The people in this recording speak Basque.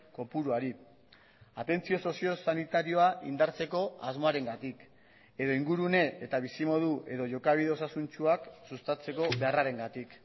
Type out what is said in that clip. kopuruari atentzio sozio sanitarioa indartzeko asmoarengatik edo ingurune eta bizimodu edo jokabide osasuntsuak sustatzeko beharrarengatik